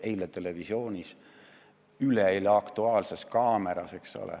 See oli eile televisioonis, üleeile "Aktuaalses kaameras".